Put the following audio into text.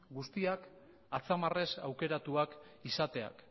guztiak atzamarrez aukeratuak izateak